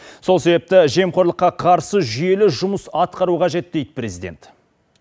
сол себепті жемқорлыққа қарсы жүйелі жұмыс атқару қажет дейді президент